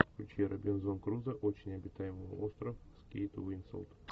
включи робинзон крузо очень обитаемый остров с кейт уинслет